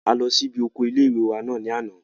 A lọ sí ibi oko ilé-ìwé náà ní àná